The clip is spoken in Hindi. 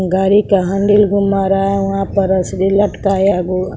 घड़ी का हैंडिल घुमा रहा है वहां पर रसरी लटकाया हुआ--